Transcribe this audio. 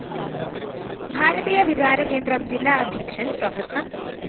ഭാരതീയ വിചാരകേന്ദ്രം ജില്ലാ അദ്ധ്യക്ഷന്‍ പ്രോഫ്‌